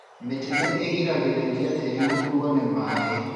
Mĩtĩ nĩ ĩgiragĩrĩria tĩri gũkuo nĩ maaĩ